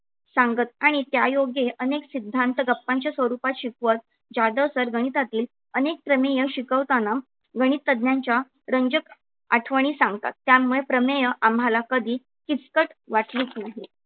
सांगत आणि त्या योगे अनेक सिद्धांत गप्पांच्या स्वरूपात शिकवत जाधव sir गणितातील अनेक प्रमेय शिकवताना गणितज्ञांच्या रंजक आठवणी सांगतात. त्यामुळे प्रमेय आम्हाला कधी किचकट वाटलीच नाही.